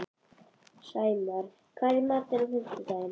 Sæmar, hvað er í matinn á fimmtudaginn?